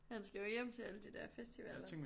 Han skal jo hjem til alle de der festivaller